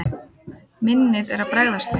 Minnið er að bregðast mér.